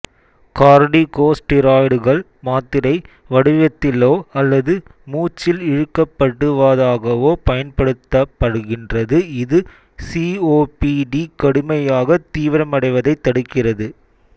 கார்டிகோஸ்டீராய்டுகள் மாத்திரை வடிவத்திலோ அல்லது மூச்சில் இழுக்கப்படுவதாகவோ பயன்படுத்தப்படுகின்றது இது சிஓபிடி கடுமையாக தீவிரமடைவதைத் தடுக்கிறது